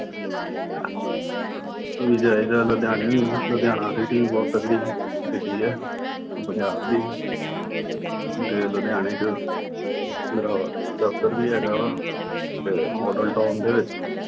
ਵੀ ਜਾਈਦਾ। ਲੁਧਿਆਣੇ ਵੀ, ਲੁਧਿਆਣਾ city ਵੀ ਬਹੁਤ ਤਕੜੀ city ਆ, ਪੰਜਾਬ ਦੀ। ਤੇ ਲੁਧਿਆਣੇ ਚ ਮੇਰਾ ਦਫ਼ਤਰ ਵੀ ਹੈਗਾ। ਤੇ Model town ਦੇ ਵਿੱਚ